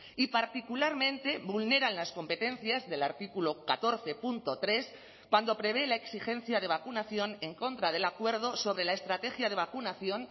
y particularmente vulneran las competencias del artículo catorce punto tres cuando prevé la exigencia de vacunación en contra del acuerdo sobre la estrategia de vacunación